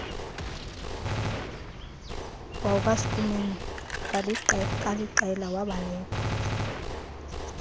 wakwaschoeman kaliqela wabaleka